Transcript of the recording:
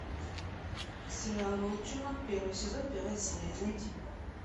сериал волчонок первый сезон первая серия найти